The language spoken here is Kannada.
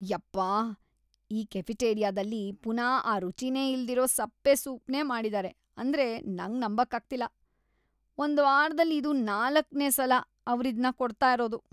ಯಪ್ಪ, ಆ ಕೆಫೆಟೇರಿಯಾದಲ್ಲಿ ಪುನಾ ಆ ರುಚಿನೇ ಇಲ್ದಿರೋ ಸಪ್ಪೆ ಸೂಪ್‌ನೇ ಮಾಡಿದಾರೆ ಅಂದ್ರೆ ನಂಗ್‌ ನಂಬಕ್ಕಾಗ್ತಿಲ್ಲ. ಒಂದ್ವಾರದಲ್ಲಿ ಇದು ನಾಲಕ್ನೇ ಸಲ ಅವ್ರಿದ್ನ ಕೊಡ್ತಾ ಇರೋದು.